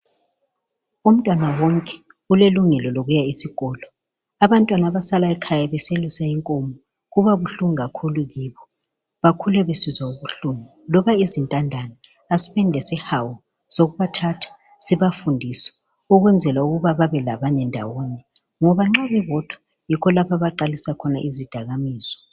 Umntwana wonke ulelungelo lokuya esikolo, abantwana abasala ekhaya beselusa inkomo kubabuhlungu kakhulu kibo bakhula besizwa ubuhlungu. Loba izintandane asibeni lesihawu sokubathatha sibafundise, ukwenzela ukuba babe labanye ndawonye. Ngoba nxa bebodwa yikho la abaqalisa khona izidakamizwa